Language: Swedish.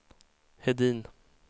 Hedin